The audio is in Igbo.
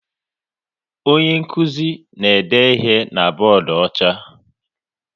Onye nkụzi na-ede ihe na bọọdụ ọcha